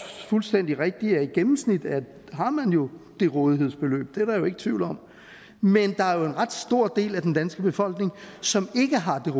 fuldstændig rigtigt at i gennemsnit har man jo det rådighedsbeløb det er der jo ikke tvivl om men der er jo en ret stor del af den danske befolkning som ikke har det